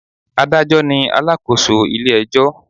Adájọ́ ni alakoso ilé ẹjọ́